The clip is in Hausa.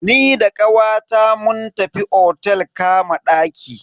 Ni da kawata mun tafi otel kama ɗaki.